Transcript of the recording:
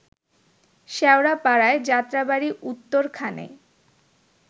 শ্যাওড়াপাড়ায়, Jatrabari, উত্তরখানে